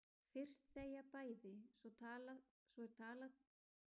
Fyrst þegja bæði, svo er talað dágóða stund og hún pírir augun móti sól.